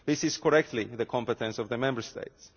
This is, correctly, the competence of the Member States.